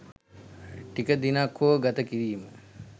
ටික දිනක් හෝ ගත කිරීම